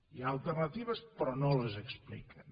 hi ha alternatives però no les expliquen